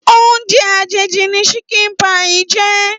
Óoùnjè àjéjí ni ṣìkín pàí jè